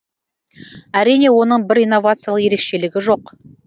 әрине оның бір инновациялық ерекшелігі жоқ